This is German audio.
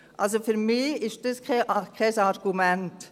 Also für mich ist das kein Argument.